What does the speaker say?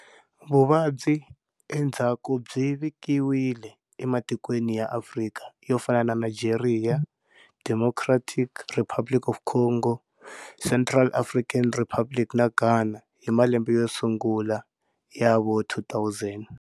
Vuvabyi endzhaku byi vikiwile ematikweni ya Afrika yo fana na Nigeria, Democratic Republic of the Congo, Central African Republic na Ghana hi malembe yosungula ya vo 2000.